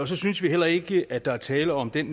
så synes vi heller ikke at der er tale om den